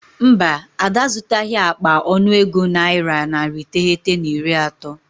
Mba, Ada azụtaghị akpa ọnụego naira narị iteghete na iri atọ.